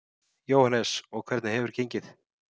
Jóhannes: Og hvernig hefur gengið?